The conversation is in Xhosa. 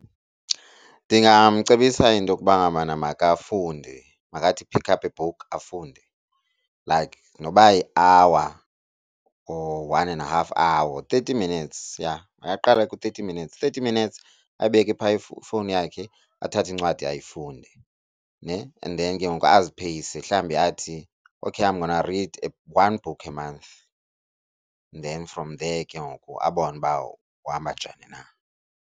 Ndingamcebisa into yokuba ngabana makafunde, makathi pick up a book afunde like noba yi-hour or one and a half hour. Thirty minutes, yha, makaqale ku-thirty minutes, thirty minutes abeke phaa ifowuni yakhe athathe incwadi ayifunde ne. And then ke ngoku azipheyise, mhlawumbi athi okay I'm gonna read one book a month then from there ke ngoku abone uba uhamba njani na.